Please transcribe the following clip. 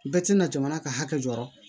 Bɛɛ tɛna jamana ka hakɛ jɔyɔrɔ